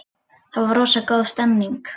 Það var rosa góð stemning.